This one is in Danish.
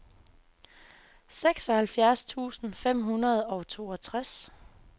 seksoghalvfjerds tusind fem hundrede og toogtres